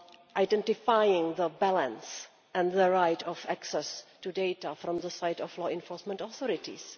identifying the balance and the right of access to data on the part of law enforcement authorities.